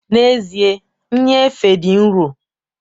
N'ezie, nnyefe dị nro